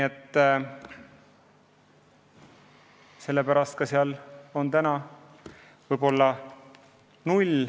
Ehk sellepärast on seal täna nullrahastus.